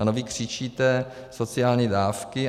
A vy křičíte sociální dávky.